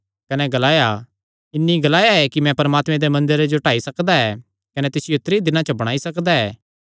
कने ग्लाया इन्हीं ग्लाया ऐ कि मैं परमात्मे दे मंदरे जो ढाई सकदा कने तिसियो त्रीं दिनां च बणाई सकदा